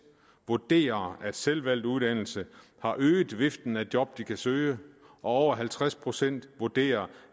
vurderer at selvvalgt uddannelse har øget viften af job de kan søge og over halvtreds procent vurderer